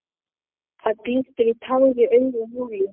Það glittir á tár í augum Júlíu.